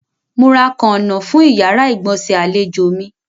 Mo ra àwọn kàǹnọ̀ fún ìyàrá-ìgbọ̀nsẹ̀ àlèjò mi.